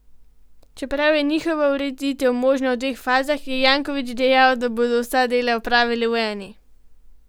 Čeprav je njihova ureditev možna v dveh fazah, je Janković dejal, da bodo vsa dela opravili v eni.